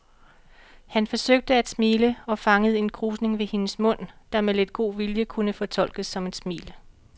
Han forsøgte at smile og fangede en krusning ved hendes mund, der med lidt god vilje kunne fortolkes som et smil.